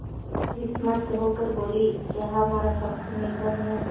विस्मित होकर बोलीक्या हमारा पक्ष निर्बल है